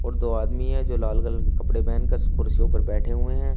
और दो आदमी हैं जो लाल कलर के कपड़े पहनकर कुर्सियों पर बैठे हुए हैं।